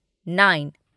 nine